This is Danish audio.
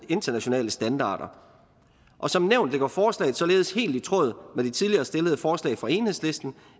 internationale standarder og som nævnt ligger forslaget således helt i tråd med de tidligere stillede forslag fra enhedslisten